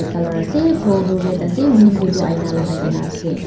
colour ase floor toh red ase window toh aina lagai na ase.